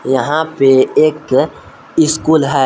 यहां पे एक स्कूल है।